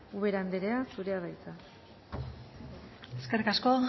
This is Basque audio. ubera anderea zurea da hitza eskerrik asko